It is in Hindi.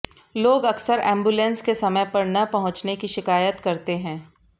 लोग अकसर एंबुलेंस के समय पर न पहुंचने की शिकायत करते हैं